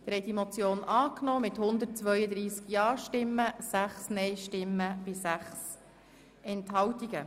Sie haben die Motion angenommen mit 132 Ja- gegen 6 Nein-Stimmen bei 6 Enthaltungen.